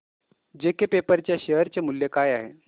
JK paper च्या share चे मूल्य काय आहे